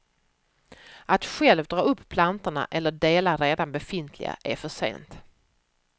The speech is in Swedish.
Att själv dra upp plantorna eller dela redan befintliga är för sent.